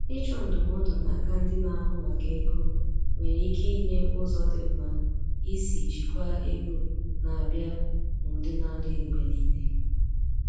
Ịchọ ndụmọdụ n'aka ndị na-ahụ maka ego nwere ike inye ụzọ dị mma isi jikwaa ego na-abịa n’ụdị na-adịghị mgbe niile.